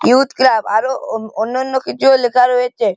Youth club আরো ও অন্যান্য কিছুও লেখা রয়েছে।